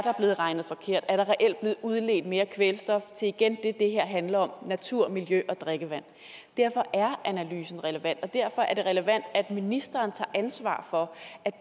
er blevet regnet forkert om der reelt er blevet udledt mere kvælstof til igen det det her handler om natur miljø og drikkevand derfor er analysen relevant og derfor er det relevant at ministeren tager ansvar for